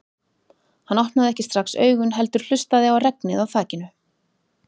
Hann opnaði ekki strax augun heldur hlustaði á regnið á þakinu.